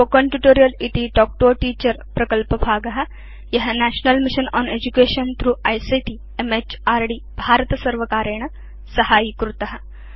spoken tutorial इति talk to a teacher प्रकल्पभाग य national mission on education through ICT म्हृद् भारतसर्वकारेण साहाय्यीभूत